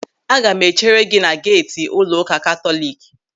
Aga m echere gị na geeti ụlọụka Katọlik.